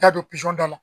T'a don dɔ la